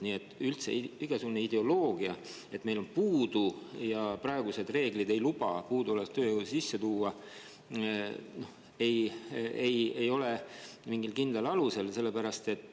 Nii et igasugune ideoloogia, et meil on puudu ja praegused reeglid ei luba puuduolevat tööjõudu sisse tuua, ei ole mingil kindlal alusel.